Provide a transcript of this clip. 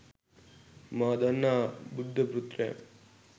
මා දන්නා බුද්ධ පුත්‍රයන්